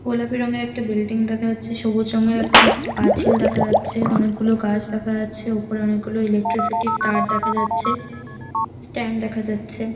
গোলাপি রঙের একটা বিল্ডিং দেখা যাচ্ছে সবুজ রঙের একটা পাঁচিল দেখা যাচ্ছে অনেক গুলো গাছ দেখা যাচ্ছে ওপরে অনেক গুলো ইলেকট্রিসিটির তার দেখা যাচ্ছে স্ট্যান্ড দেখা যাচ্ছে।